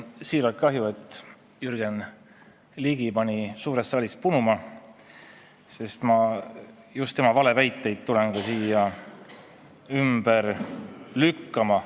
Mul on siiralt kahju, et Jürgen Ligi pani suurest saalist punuma, sest just tema valeväiteid ma tulingi siia ümber lükkama.